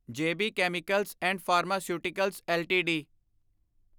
ਜੇ B chemicals and pharmaceuticals LTD